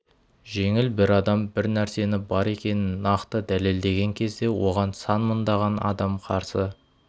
жеңіл бір адам бір нәрсені бар екенін нақты дәлелдеген кезде оған сан мыңдаған адам қарсы